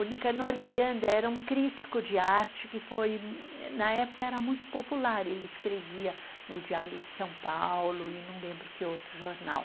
O Nicanor Miranda era um crítico de arte que foi, na época era muito popular, ele escrevia no Diário de São Paulo e não lembro que outro jornal.